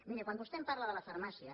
miri quan vostè em parla de la farmàcia